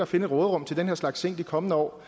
finde et råderum til den her slags ting i de kommende år